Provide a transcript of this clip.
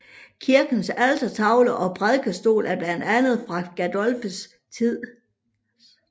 Kirkens altertavle og prædikestol er blandt andet fra Gersdorffs tid